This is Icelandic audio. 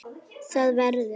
ÞAÐ VERÐUR